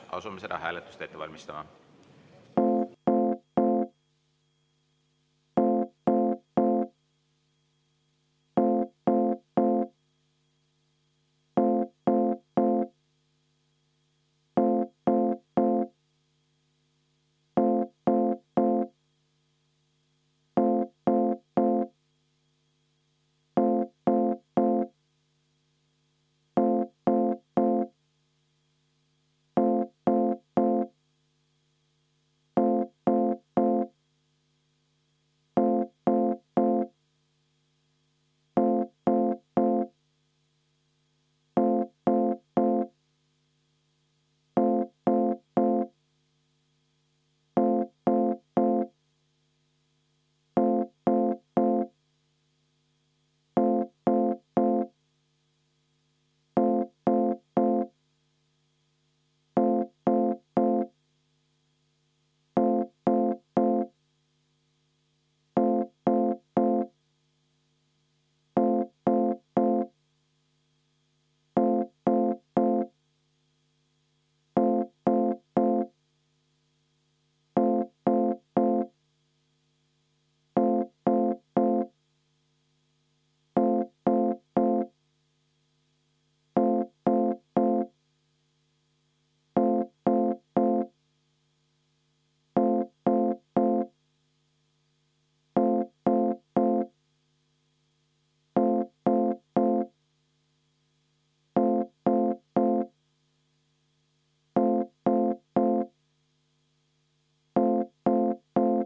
Asume seda hääletust ette valmistama.